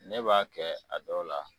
Ne b'a kɛ a dɔw la